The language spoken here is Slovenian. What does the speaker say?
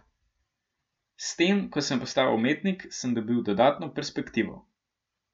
S tem, ko sem postal umetnik, sem dobil dodatno perspektivo.